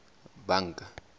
banka